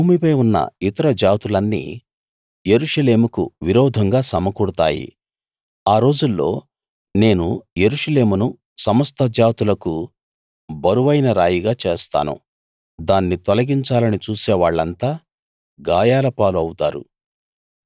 భూమిపై ఉన్న ఇతర జాతులన్నీ యెరూషలేముకు విరోధంగా సమకూడతాయి ఆ రోజుల్లో నేను యెరూషలేమును సమస్త జాతులకు బరువైన రాయిగా చేస్తాను దాన్ని తొలగించాలని చూసేవాళ్ళంతా గాయాలపాలు అవుతారు